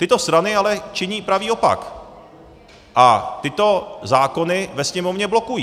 Tyto strany ale činí pravý opak a tyto zákony ve Sněmovně blokují.